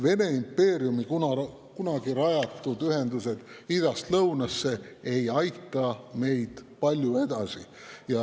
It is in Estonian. Vene impeeriumi kunagi rajatud ühendused idast lõunasse ei aita meid palju edasi.